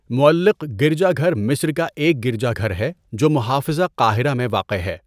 مُعَلَّق گرجا گھر مصر کا ایک گرجا گھر ہے جو محافظہ قاہرہ میں واقع ہے۔